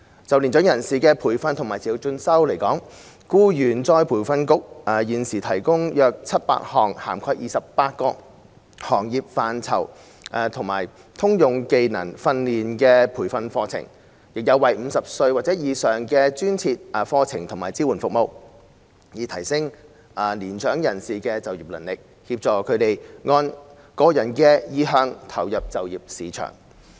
就年長人士的培訓和持續進修而言，僱員再培訓局現時提供約700項涵蓋28個行業範疇及通用技能訓練的培訓課程，亦有專為50歲或以上人士而設的課程及支援服務，以提升年長人士的就業能力，協助他們按個人的意向投入就業市場。